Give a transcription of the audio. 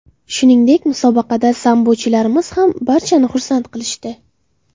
Shuningdek, musobaqada sambochilarimiz ham barchamizni xursand qilishdi.